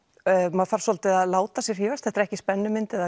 maður þarf svolítið að láta sig hrífast því þetta er ekki spennumynd eða